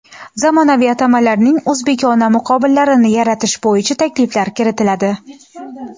zamonaviy atamalarning o‘zbekona muqobillarini yaratish bo‘yicha takliflar kiritadi.